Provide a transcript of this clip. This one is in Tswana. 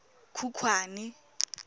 khukhwane